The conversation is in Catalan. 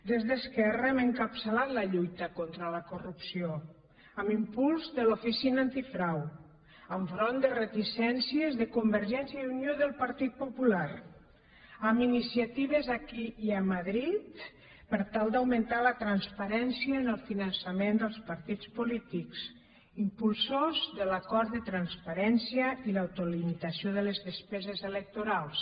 des d’esquerra hem encapçalat la lluita contra la corrupció amb impuls de l’oficina antifrau enfront de reticències de convergència i unió i del partit popular amb iniciatives aquí i a madrid per tal d’augmentar la transparència en el finançament dels partits polítics impulsors de l’acord de transparència i l’autolimitació de les despeses electorals